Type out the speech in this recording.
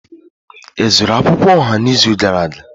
Ị zụrụ akwukwuo oha n'izu gara aga?